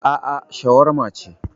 Aa, shawarma ce